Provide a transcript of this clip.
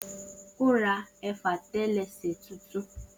O ra efatelese tuntun